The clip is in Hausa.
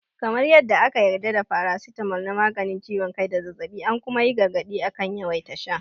Kamar yadda aka yarda da faracitamol na maganin ciwon kai da zazzaɓi, an kuma yi gargaɗi akan yawaita sha.